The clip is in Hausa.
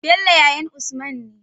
Bello yayan usman ne